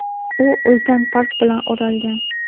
u ulkan park bilan o‘ralgan.